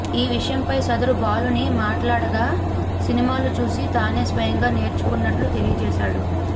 ఈ విషయంపై సదరు బాలుని మాట్లాడగా సినిమాలు చూసి తానే స్వయంగా నేర్చుకున్నట్లు తెలియజేశాడు